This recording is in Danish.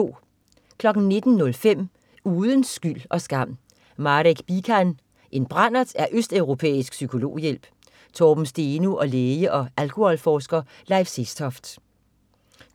19.05 Uden skyld og skam: Marek Bican. "En brandert er østeuropæisk psykologhjælp". Torben Steno og læge og alkoholforsker Leif Sestoft